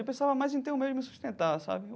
Eu pensava mais em ter um meio de me sustentar, sabe?